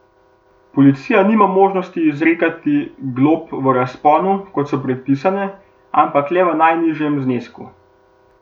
Policija nima možnosti izrekati glob v razponu, kot so predpisane, ampak le v najnižjem znesku.